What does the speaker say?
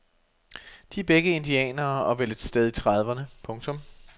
De er begge indianere og vel et sted i trediverne. punktum